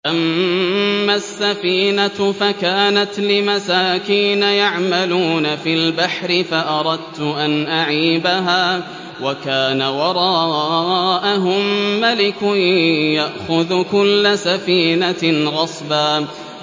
أَمَّا السَّفِينَةُ فَكَانَتْ لِمَسَاكِينَ يَعْمَلُونَ فِي الْبَحْرِ فَأَرَدتُّ أَنْ أَعِيبَهَا وَكَانَ وَرَاءَهُم مَّلِكٌ يَأْخُذُ كُلَّ سَفِينَةٍ غَصْبًا